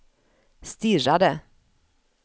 stirrade